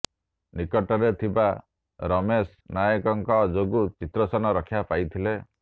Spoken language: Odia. ନିକଟରେ ଥିବା ରମେଶ ନାୟକଙ୍କ ଯୋଗୁଁ ଚିତ୍ରସେନ ରକ୍ଷା ପାଇଥିଲେ